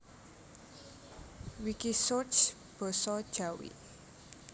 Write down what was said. Wikisource basa Jawi